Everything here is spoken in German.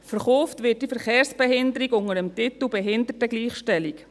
Verkauft wird diese Verkehrsbehinderung unter dem Titel «Behindertengleichstellung».